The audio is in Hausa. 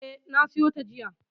E, na siyo ta jiya.